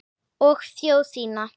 Og þjóð þína.